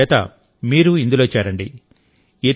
అందుచేతమీరు ఇందులో చేరండి